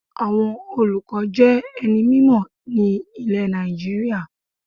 Àwọn olùkọ́ jé ẹni mímò ní ilè Nàìjíríà